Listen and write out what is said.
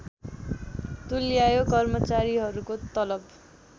तुल्यायो कर्मचारीहरूको तलब